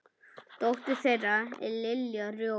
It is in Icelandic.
Dóttir þeirra er Lilja Rós.